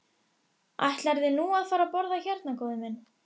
Ætlarðu nú að fara að borða hérna, góði minn?